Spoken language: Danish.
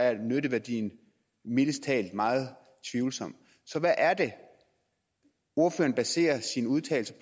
er nytteværdien mildest talt meget tvivlsom så hvad er det ordføreren baserer sin udtalelse